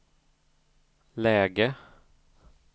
läge